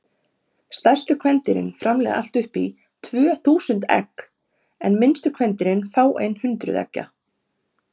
Stærstu kvendýrin framleiða allt upp í tvö þúsund egg en minnstu kvendýrin fáein hundruð eggja.